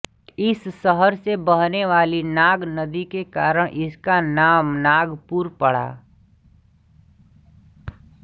इस शहर से बहने वाली नाग नदी के कारण इसका नाम नागपुर पड़ा